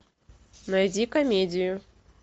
найди комедию